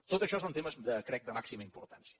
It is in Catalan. tot això són temes ho crec de màxima importància